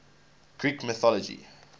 greek mythology